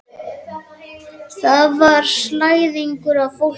Þar var slæðingur af fólki umhverfis nýtekna gröf.